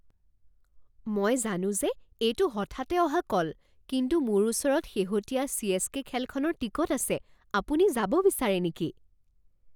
মই জানো যে এইটো হঠাতে অহা কল, কিন্তু মোৰ ওচৰত শেহতীয়া চি.এচ.কে. খেলখনৰ টিকট আছে। আপুনি যাব বিচাৰে নেকি?